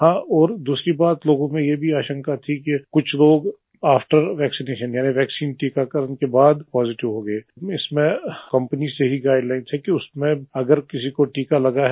और हां दूसरी बात लोगो में ये भी आशंका थी कि कुछ लोग आफ्टर वैक्सिनेशन यानि वैक्सीन टीकाकरण के बाद पॉजिटिव हो गये इसमें कंपनीज से ही गाइडलाइन्स है कि उसमें अगर किसी को टीका लगा है